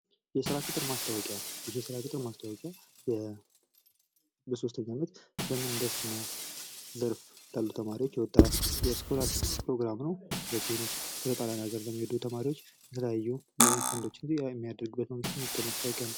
የስራ ቅጥር ማስታወቂያ ይህ የስራ ቅጥር ማስታወቂያ በ3ኛ አመት ምህንድስና ዘርፍ ላሉ ተማሪዎች የወጣ የስኮላርሺፕ ፕሮግራም ነው። በተለይም በጣሊያን አገር ለሚሄዱ ተማሪዎች የተለያዩ ፈንዶችን የሚያደርጉበት የወጣ ማስታወቂያ ነው።